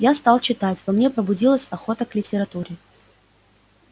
я стал читать во мне пробудилась охота к литературе